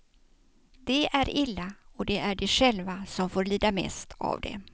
Det är illa, och det är de själva som får lida mest av det.